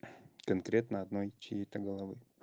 конкретно одной чьей-то головы